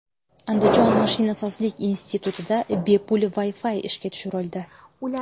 Andijon mashinasozlik institutida bepul Wi-Fi ishga tushirildi.